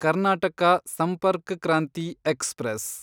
Karnataka Sampark Kranti express